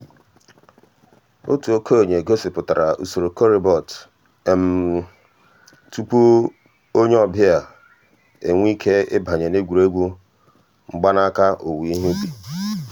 ọ̀tù òkènye gọ̀sìpùtárà ǔsòrò corribot um túpù um ònyè ọ̀ um bịa enwèè ìké ị̀bànyè n'ègwè́ré́gwụ̀ mgbànàkà òwùwé ìhè ǔbì.